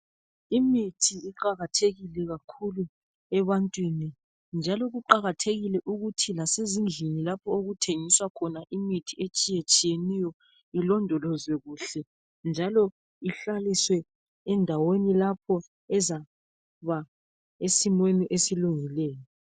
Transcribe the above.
Imithi iqakathekile kakhulu ebantwini njalo kuqakathekile ukuthi lasezindlini lapho okuthengiswa khona imithi etshiyetshiyeneyo ilondolozwe kuhle njalo ihlaliswe endaweni lapho ezaba esimweni esilungileyo.